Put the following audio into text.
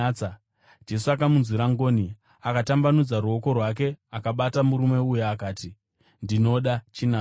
Jesu akamunzwira ngoni, akatambanudza ruoko rwake akabata murume uya. Akati, “Ndinoda. Chinatswa!”